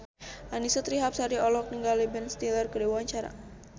Annisa Trihapsari olohok ningali Ben Stiller keur diwawancara